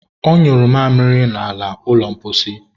ọ nyụrụ mamịrị n'ala ụlọ mposi.